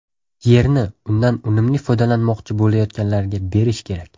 Yerni undan unumli foydalanmoqchi bo‘layotganlarga berish kerak.